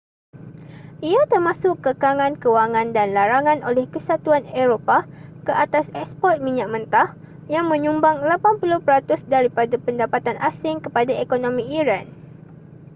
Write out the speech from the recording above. ia termasuk kekangan kewangan dan larangan oleh kesatuan eropah ke atas eksport minyak mentah yang menyumbang 80% daripada pendapatan asing kepada ekonomi iran